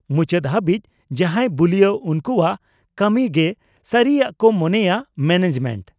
-ᱢᱩᱪᱟᱹᱫ ᱦᱟᱹᱵᱤᱡ, ᱡᱟᱦᱟᱸᱭ ᱵᱩᱞᱤᱭᱟ ᱩᱱᱠᱩᱣᱟᱜ ᱠᱟᱹᱢᱤ ᱜᱮ ᱥᱟᱹᱨᱤᱭᱟᱜ ᱠᱚ ᱢᱚᱱᱮᱭᱟ ᱢᱮᱱᱮᱡᱢᱮᱱᱴ ᱾